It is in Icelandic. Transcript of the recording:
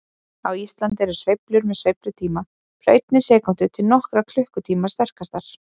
Á Íslandi eru sveiflur með sveiflutíma frá einni sekúndu til nokkurra klukkutíma sterkastar.